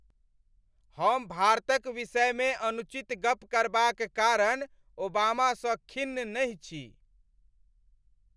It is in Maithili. हम भारतक विषयमे अनुचित गप करबाक कारण ओबामा सँ खिन्न नहि छी।